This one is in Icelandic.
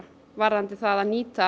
varðandi